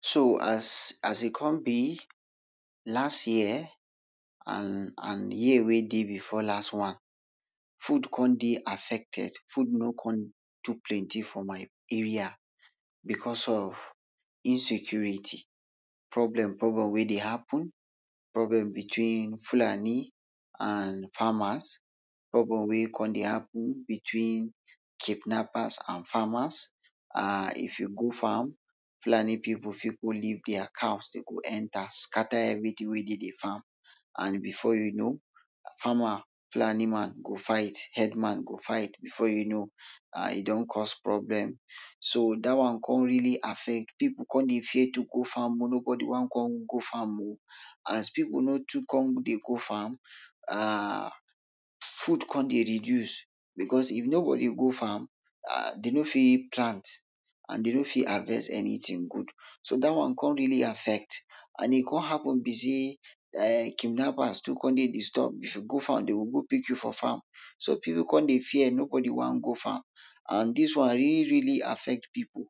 So as, as e come be, last year and, and year wey dey before last one, food come dey affected, food no kon too plenty for my area becos of insecurity, problem wey dey happen, problem between Fulani and farmers, problem wey come dey happen between kidnappers and farmers. um if you go farm, Fulani pipul fit go leave dia cow dey go enter scatter everytin wey dey de farm and before you know, farmer, Fulani man go fight, herdman go fight, before you know um e don cause problem. So dat one kon really affect, pipul kon dey fear to go farm.o nobody wan kon go farm.o As pipul no too kon dey go farm, um food kon dey reduce becos if you no go dey go farm, dey no fit plant and dey no fit harvest anytin good. So dat one kon really affect, and e kon happen be sey kidnappers too kon dey disturb, if you go farm dey go go pick you for farm, so pipul kon dey fear, nobody wan go farm, and dis one really really affect pipul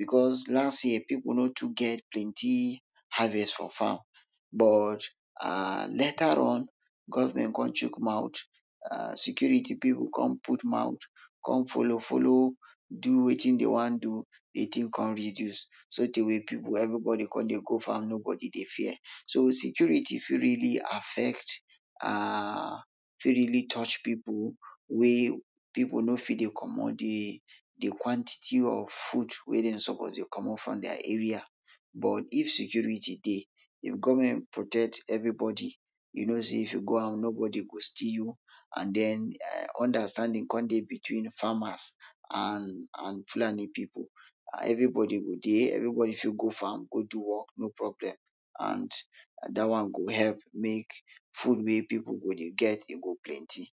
becos last year pipul no too get plenty harvest for farm. But um later on, government kon chuk mouth um security pipul kon put mouth, kon follow follow do wetin dey wan do, dey tin kon reduce. Sotey wey pipul, everybodi kon dey go farm, nobody dey fear. So security fit really affect um fit really touch pipul wey pipul no fit dey comot dey dey quantity of food wey dem suppose to dey comot from dia area, but if security dey, if government protect everybodi, you know sey if you go out nobodi go steal you and den, um understanding kon dey between farmers and and Fulani pipul, everybodi go dey, everybodi fit go farm, go do work, no problem and dat one go help make food wey pipul go dey get e go plenty.